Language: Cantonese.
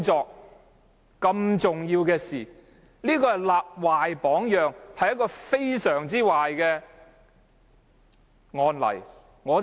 這是多麼重要的事，他立壞榜樣，這是非常差勁的案例。